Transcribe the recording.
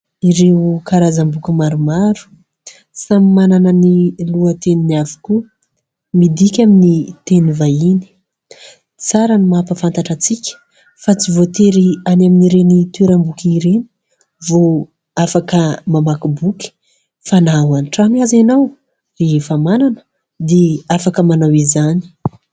Ireo karazam-boky maromaro samy manana ny lohateny avokoa, midika amin'ny teny vahiny. Tsara ny mampahafantatra antsika fa tsy voatery any amin'ny ireny toeram-boky ireny vao afaka mamaky boky fa na ao an-trano aza ianao rehefa manana dia afaka manao izany.